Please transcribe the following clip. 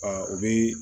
o bɛ